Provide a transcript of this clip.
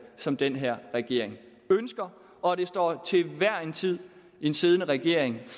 som den her regering ønsker og det står til hver en tid en siddende regering